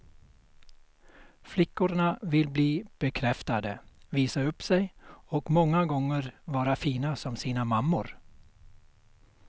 Flickorna vill bli bekräftade, visa upp sig och många gånger vara fina som sina mammor.